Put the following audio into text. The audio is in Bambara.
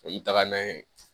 O ye taga n'a ye